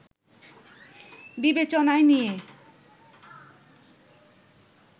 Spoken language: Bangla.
বিবেচনায় নিয়ে